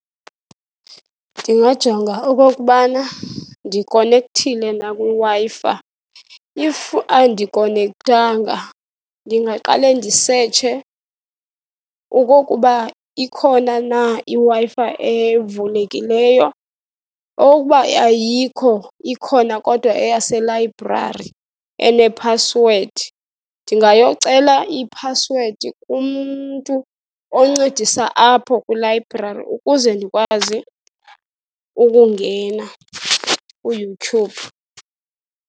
Ndingajonga okokubana ndikonekthile na kwiWi-Fi. If andikonekthanga, ndingaqale ndisetshe okokuba ikhona na iWi-Fi evulekileyo. Okokuba ayikho, ikhona kodwa eyaselayibrari enephasiswedi, ndingayocela iphasiwedi kumntu oncedisa apho kwilayibrari ukuze ndikwazi ukungena kuYouTube.